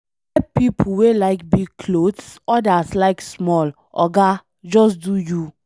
E get pipo wey like big clothes, odas like small, oga just do you.